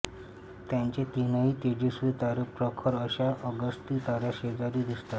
त्याचे तीनही तेजस्वी तारे प्रखर अश्या अगस्ती ताऱ्याशेजारी दिसतात